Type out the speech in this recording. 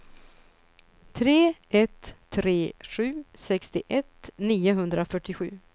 tre ett tre sju sextioett niohundrafyrtiosju